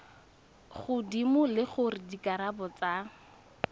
godimo le gore dikarabo tsa